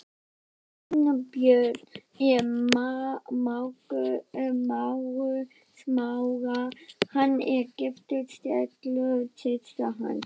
Sveinbjörn er mágur Smára, hann er giftur Stellu systur hans.